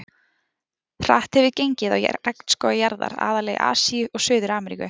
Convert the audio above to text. Hratt hefur gengið á regnskóga jarðar, aðallega í Asíu og Suður-Ameríku.